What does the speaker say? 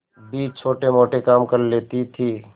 भी छोटेमोटे काम कर लेती थी